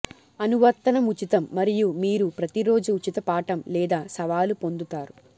అనువర్తనం ఉచితం మరియు మీరు ప్రతిరోజు ఉచిత పాఠం లేదా సవాలు పొందుతారు